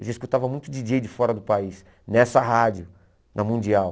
Eu já escutava muito díi djêi de fora do país, nessa rádio, na Mundial.